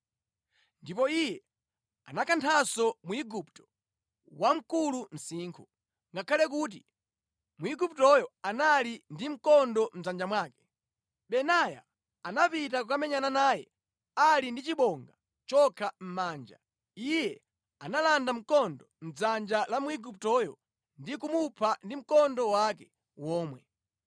Ndipo iye anakanthanso Mwigupto wamkulu msinkhu. Ngakhale kuti Mwiguptoyo anali ndi mkondo mʼdzanja mwake, Benaya anapita kukamenyana naye ali ndi chibonga chokha mʼmanja. Iye analanda mkondo mʼdzanja la Mwiguptoyo ndi kumupha ndi mkondo wake womwe.